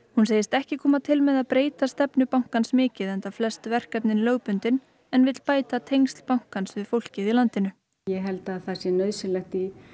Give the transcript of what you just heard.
hún segist ekki koma til með að breyta stefnu bankans mikið enda flest verkefnin lögbundin en vill bæta tengsl bankans við fólkið í landinu ég held að það sé nauðsynlegt í